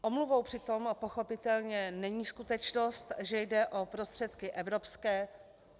Omluvou přitom pochopitelně není skutečnost, že jde o prostředky evropské.